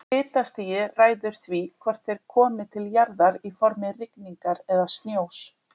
Hitastigið ræður því hvort þeir komi til jarðar í formi rigningar eða snjós.